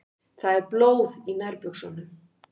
Það er blóð í nærbuxunum.